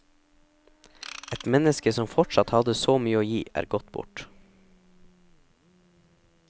Et menneske som fortsatt hadde så mye å gi er gått bort.